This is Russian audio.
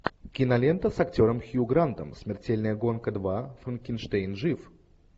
кинолента с актером хью грантом смертельная гонка два франкенштейн жив